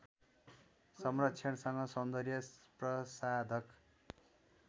संरक्षणसँग सौन्दर्य प्रसाधक